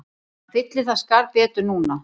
Hann fyllir það skarð betur núna